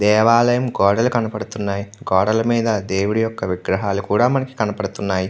దేవాలయ గోడ కనబడుతుంది. గోడలు మీద దేవుడు విగ్రహం కనబడుతున్నాయి --